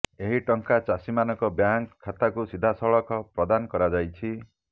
ଏହି ଟଙ୍କା ଚାଷୀମାନଙ୍କ ବ୍ୟାଙ୍କ ଖାତାକୁ ସିଧାସଳଖ ପ୍ରଦାନ କରାଯାଇଛି